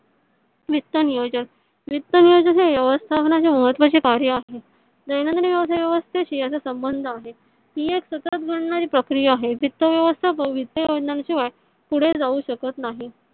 वित्त नियोजन वित्त नियोजन हे व्यवस्थापणेचे महत्वाचे कार्य आहे . दैनदीन व्यवसाय व्यवस्थेशी याचा संबंध आहे . हे एक सतत घडणारी प्रक्रिया आहे. वित्त व्यवस्थापन शिवाय पुढे जाऊ शकत नाही